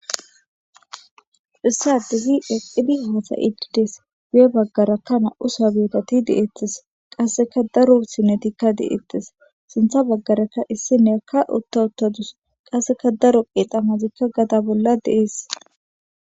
issa addezi eqedi hasayidides wuye Baggarakka na7u sabeetati deettis qasseka daro sinetikka deettis sintha baggarakka issi ne akka utta uttadus qasseka daro qeexamazikka gada bolla deees